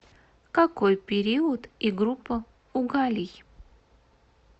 какой период и группа у галлий